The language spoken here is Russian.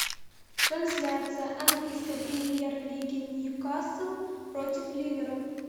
трансляция английской премьер лиги ньюкасл против ливера